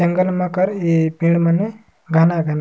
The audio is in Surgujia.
जंगल मन कर ऐ पेड़ मने गाना गला--